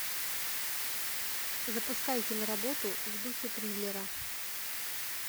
запускай киноработу в духе триллера